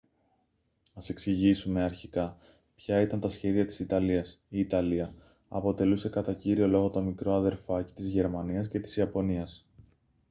ας εξηγήσουμε αρχικά ποια ήταν τα σχέδια της ιταλίας. η ιταλία αποτελούσε κατά κύριο λόγο το «μικρό αδερφάκι» της γερμανίας και της ιαπωνίας